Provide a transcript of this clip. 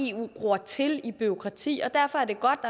eu gror til i bureaukrati og derfor er det godt